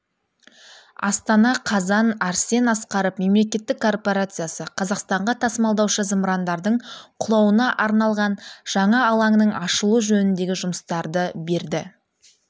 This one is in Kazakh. астана қазан арсен асқаров мемлекеттік корпорациясы қазақстанға тасымалдаушы зымырандардың құлауына арналған жаңа алаңның ашылуы жөніндегі жұмыстарды берді